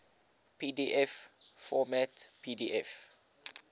pdf format pdf